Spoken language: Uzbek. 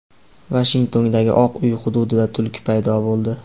Vashingtondagi Oq uy hududida tulki paydo bo‘ldi.